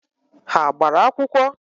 Ha gbara akwụkwọ?